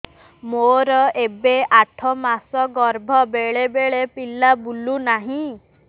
ମୋର ଏବେ ଆଠ ମାସ ଗର୍ଭ ବେଳେ ବେଳେ ପିଲା ବୁଲୁ ନାହିଁ